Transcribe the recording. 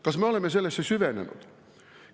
Kas me oleme sellesse süvenenud?